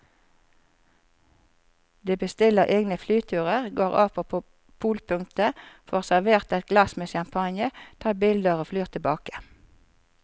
De bestiller egne flyturer, går av på polpunktet, får servert et glass med champagne, tar bilder og flyr tilbake.